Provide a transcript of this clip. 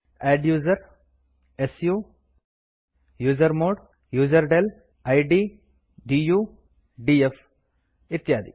adduser su usermod userdel id du df ಇತ್ಯಾದಿ